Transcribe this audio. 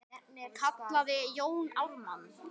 kallaði Jón Ármann.